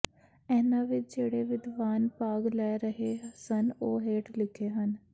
ਇਹਨਾਂ ਵਿੱਚ ਜਿਹੜੇ ਵਿਦਵਾਨ ਭਾਗ ਲੈ ਰਹੇ ਸਨ ਉਹ ਹੇਠ ਲਿਖੇ ਹਨ